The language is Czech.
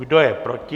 Kdo je proti?